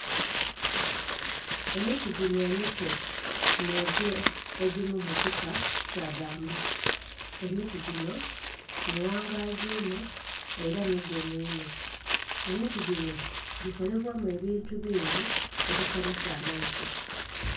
Emiti gino emito n'egyo egiri mukika kyabbambu, emiti gino mighangazi inho era migumu inho emiti gino gikolebwamu ebintu bingi ebisanhusa amaiso.